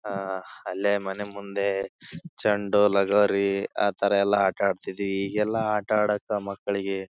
ಆಹ್ಹ್ ಅಲ್ಲೇ ಮನೆ ಮುಂದೆ ಚಂಡು ಲಗೋರಿ ಅತರ ಎಲ್ಲ ಆಟ ಆಡ್ತಾ ಇದ್ವಿ. ಈಗೆಲ್ಲ ಆಟ ಆಡೋಕೆ ಮಕ್ಕಳಿಗೆ --